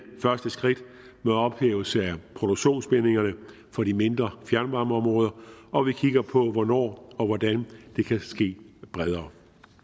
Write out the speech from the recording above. første skridt mod ophævelse af produktionsbindingerne for de mindre fjernvarmeområder og vi kigger på hvornår og hvordan det kan ske bredere